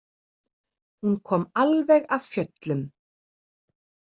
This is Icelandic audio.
Hún kom alveg af fjöllum.